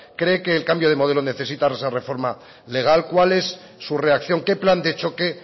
cree que el cambio de modelo necesita de esa reforma legal cuál es su reacción qué plan de choque